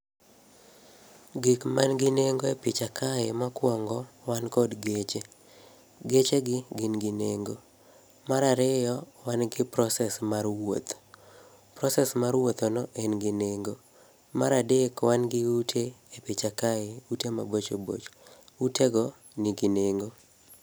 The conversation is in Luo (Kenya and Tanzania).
Gik mangi nengo e picha kae mokwongo, wan kod geche. Geche gi, gin gi nengo. Marariyo, wan gi process mar wuoth. Process mar wuothono, en gi nengo. Maradek wangi ute e picha kae, ute mabocho bocho. Utego nigi nengo.